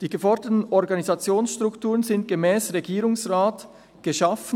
Die geforderten Organisationsstrukturen wurden gemäss Regierungsrat geschaffen.